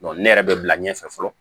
ne yɛrɛ bɛ bila ɲɛfɛ fɔlɔ